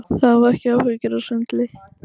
Hafa ekki áhyggjur af svindli